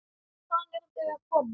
Hvaðan eru þau að koma?